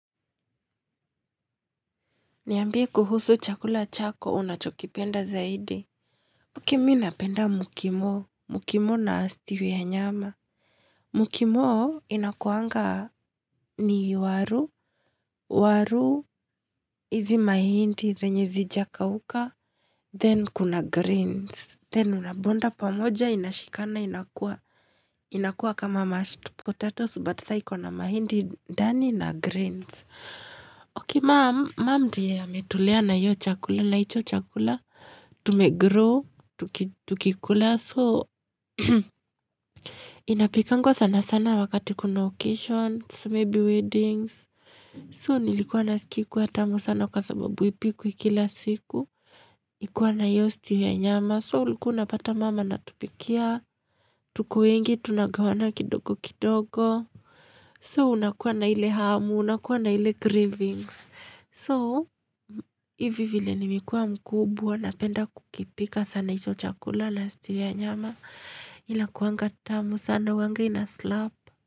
Niambie kuhusu chakula chako, unachokipenda zaidi. Haki mi napenda mukimo, mukimo na stew ya nyama. Mukimo inakuanga ni waru, waru, hizi mahindi, zenye zijakauka, then kuna greens, then unabonda pamoja, inashikana, inakua, inakua kama mashed pot Potatoes, but saiko na mahindi, ndani na greens. Ok, ma'am ndiye ametulea na iyo chakula, na hicho chakula, tumegrow, tukikula. So, inapikangwa sana-sana wakati kuna occasions, so maybe weddings. So, nilikuwa nasikia ikiwa tamu sana kwa sababu ipikwi ikila siku. Ikuwa na iyo stew ya nyama. So, uliku unapata maam anatupikia. Tuko wengi, tunagawana kidogo kidogo. So, unakuwa na ile hamu, unakuwa na ile cravings. So, hivi vile nimekuwa mkubwa, napenda kukipika sana hicho chakula na stew ya nyama. Inakuanga tamu sana huwanga inaslap.